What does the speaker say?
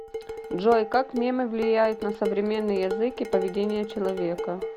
джой как мемы влияют на современный язык и поведение человека